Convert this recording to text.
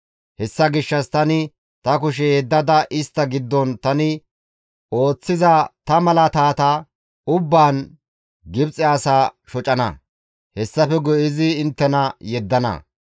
Hessa gishshas tani ta kushe yeddada istta giddon tani ooththiza ta malaatata ubbaan Gibxe asaa shocana. Hessafe guye izi inttena yeddana.